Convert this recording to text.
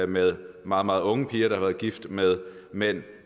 med meget meget unge piger der har været gift med mænd